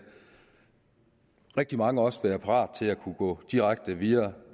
rigtig mange også være parate til at gå direkte videre